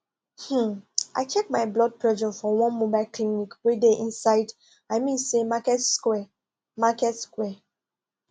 um i check my blood pressure for one mobile clinic wey dey inside i mean say market square market square